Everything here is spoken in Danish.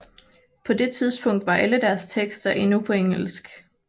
På det tidspunkt var alle deres tekster endnu på engelsk